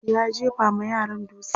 ya jefa ma yaran dutse